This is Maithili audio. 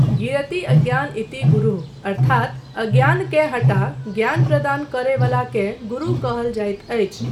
गिरति अज्ञान इति गुरूः अर्थात अज्ञानकेँ हटा ज्ञान प्रदान करय वलाकेँ गुरू कहल जाइत अछि।